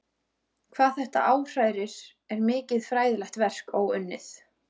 Hvað þetta áhrærir er mikið fræðilegt verk óunnið.